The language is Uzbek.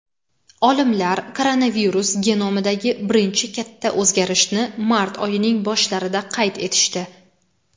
Olimlar koronavirus genomidagi birinchi katta o‘zgarishni mart oyining boshlarida qayd etishdi.